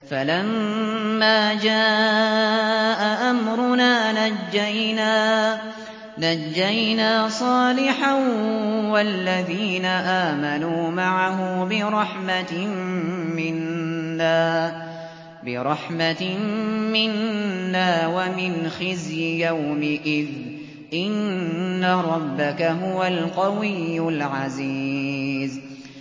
فَلَمَّا جَاءَ أَمْرُنَا نَجَّيْنَا صَالِحًا وَالَّذِينَ آمَنُوا مَعَهُ بِرَحْمَةٍ مِّنَّا وَمِنْ خِزْيِ يَوْمِئِذٍ ۗ إِنَّ رَبَّكَ هُوَ الْقَوِيُّ الْعَزِيزُ